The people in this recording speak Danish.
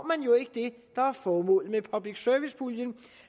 man jo ikke det der er formålet med public service puljen